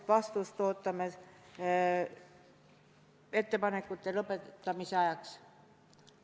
Vastust ootame ettepanekute esitamise tähtajaks.